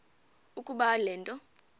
ukuba le nto